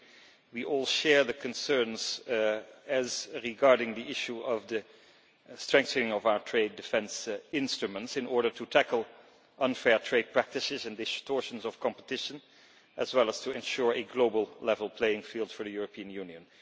I think we all share the concerns regarding the issue of the strengthening of our trade defence instruments in order to tackle unfair trade practices and distortions of competition, as well as to ensure a global level playing field for the European Union.